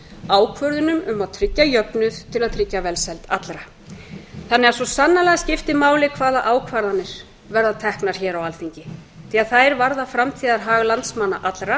ákvörðunum um að tryggja jöfnuð til að tryggja velsæld allra svo sannarlega skiptir því máli hvaða ákvarðanir verða teknar hér á alþingi því að þær varða framtíðarhag landsmanna allra